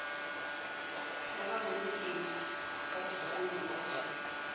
ya babolokedi ba sekimo bot